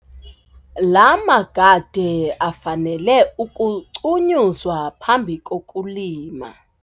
La magade afanele ukucunyuzwa phambi kokulima.